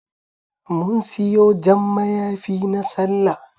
Mun siyo Jan mayafi na Sallah